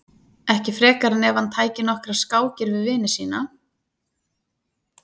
ekki frekar en ef hann tæki nokkrar skákir við vini sína